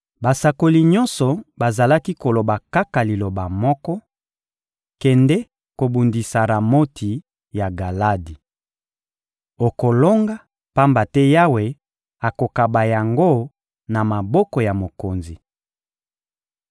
Basakoli nyonso bazalaki koloba kaka liloba moko: «Kende kobundisa Ramoti ya Galadi! Okolonga, pamba te Yawe akokaba yango na maboko ya mokonzi.»